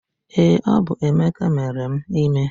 Ee, ọ bụ Emeka mere m ime